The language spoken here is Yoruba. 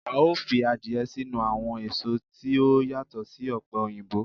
Ao fi adiye sinu awon eso ti o yato si ope oyinbo